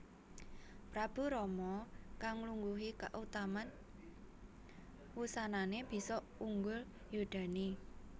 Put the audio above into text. Prabu Rama kang nglungguhi kautaman wusanané bisa unggul yudané